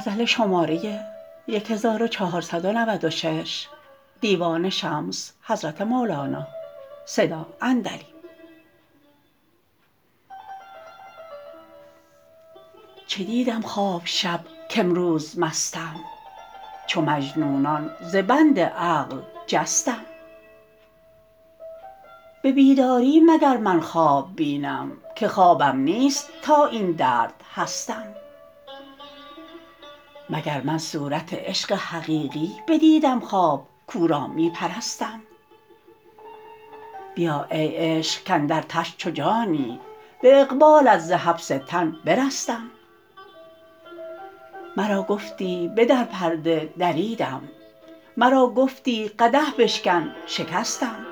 چه دیدم خواب شب کامروز مستم چو مجنونان ز بند عقل جستم به بیداری مگر من خواب بینم که خوابم نیست تا این درد هستم مگر من صورت عشق حقیقی بدیدم خواب کو را می پرستم بیا ای عشق کاندر تن چو جانی به اقبالت ز حبس تن برستم مرا گفتی بدر پرده دریدم مرا گفتی قدح بشکن شکستم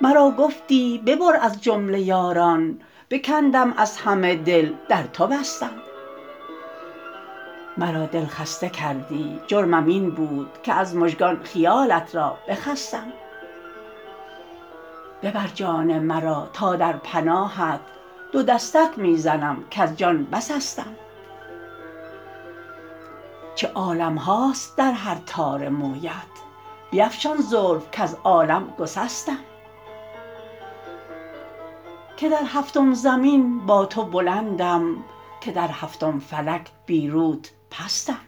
مرا گفتی ببر از جمله یاران بکندم از همه دل در تو بستم مرا دل خسته کردی جرمم این بود که از مژگان خیالت را بجستم ببر جان مرا تا در پناهت دو دستک می زنم کز جان بسستم چه عالم هاست در هر تار مویت بیفشان زلف کز عالم گسستم که در هفتم زمین با تو بلندم که در هفتم فلک بی روت پستم